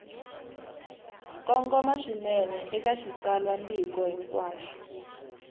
kongoma swinene eka xitsalwambiko hinkwaxo